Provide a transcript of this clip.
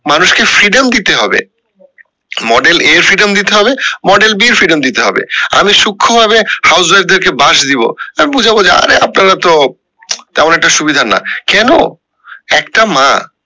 মানুষ কে freedom দিতে হবে model a freedom দিতে হবে model B freedom দিতে হবে আমি সুক্ষ ভাবে house wife দের কে বাদ দিবো আর বুঝায়া বলছি আরে আপনারা তো তেমন একটি সুবিধার না কেন একটা মা